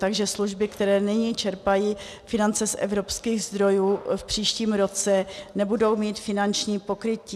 Takže služby, které nyní čerpají finance z evropských zdrojů, v příštím roce nebudou mít finanční pokrytí.